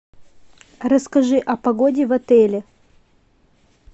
расскажи о погоде в отеле